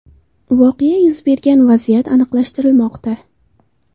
Voqea yuz bergan vaziyat aniqlashtirilmoqda.